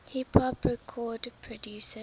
hip hop record producers